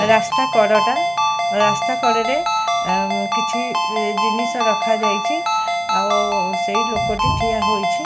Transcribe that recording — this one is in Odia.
ରାସ୍ତା କଡ ଟା ରାସ୍ତା କଟରେ କିଛି ଜିନିଷ ରଖା ଯାଇଛି। ଆଉ ସେହି ଲୋକ ଟି ଠିଆ ହୋଇଛି।